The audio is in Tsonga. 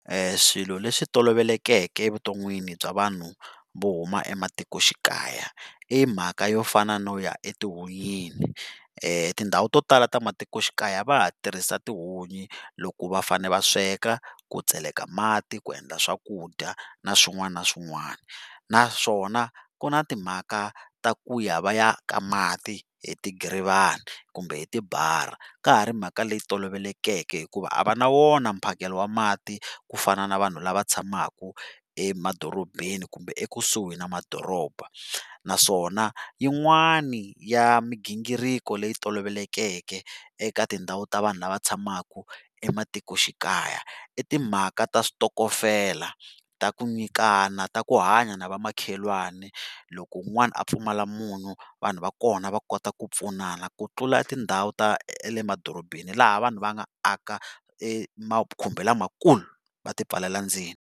Swilo leswi tolovelekeke evuton'wini bya vanhu vo huma ematikoxikaya i mhaka yo fana no ya etihunyini tindhawu to tala ta matikoxikaya va ha tirhisa tihunyi loko va fane va sweka, ku tseleka mati, ku endla swakudya na swin'wana na swin'wana naswona ku na timhaka ta ku ya va ya ka mati hi ti giivana kumbe hi ti . Ka ha ri mhaka leyi tolovelekeke hikuva a va na wona mphakelo wa mati ku fana na vanhu lava tshamaka emadorobeni kumbe ekusuhi ni madoroba naswona yin'wana ya migingiriko leyi tolovelekeke eka tindhawu ta vanhu lava tshamaka ematikoxikaya i timhaka ta switokofela ta ku nyikana ta ku hanya na vamakhelwana loko un'wana a pfumala munyu vanhu va kona va kota ku pfunana ku tlula tindhawu ta emadorobeni laha vanhu va nga aka emakhumbi lamakulu va ti pfalela ndzeni.